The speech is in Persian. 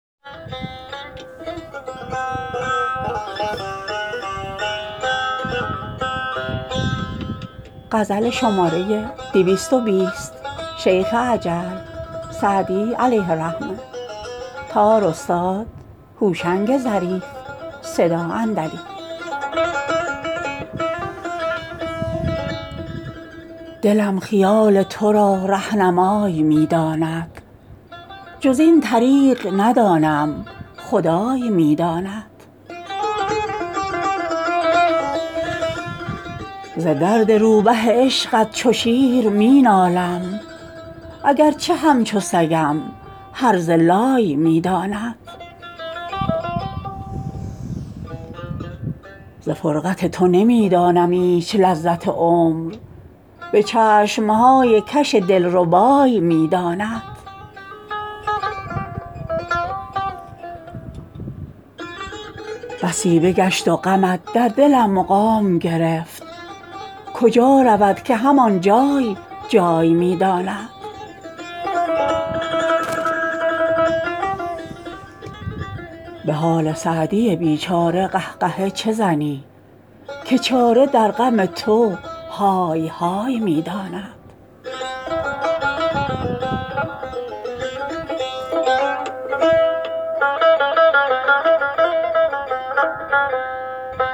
دلم خیال تو را رهنمای می داند جز این طریق ندانم خدای می داند ز درد روبه عشقت چو شیر می نالم اگر چه همچو سگم هرزه لای می داند ز فرقت تو نمی دانم ایچ لذت عمر به چشم های کش دل ربای می داند بسی بگشت و غمت در دلم مقام گرفت کجا رود که هم آن جای جای می داند به حال سعدی بی چاره قه قهه چه زنی که چاره در غم تو های های می داند